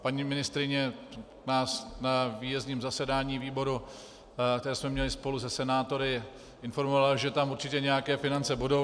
Paní ministryně nás na výjezdním zasedání výboru, které jsme měli spolu se senátory, informovala, že tam určitě nějaké finance budou.